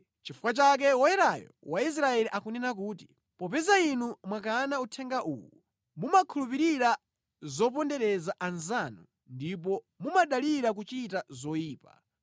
Nʼchifukwa chake Woyerayo wa Israeli akunena kuti, “Popeza inu mwakana uthenga uwu, mumakhulupirira zopondereza anzanu ndipo mumadalira kuchita zoyipa,